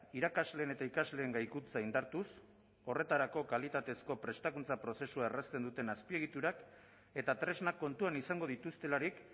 irakasleen eta ikasleen gaikuntza indartuz horretarako kalitatezko prestakuntza prozesua errazten duten azpiegiturak eta tresnak kontuan izango dituztelarik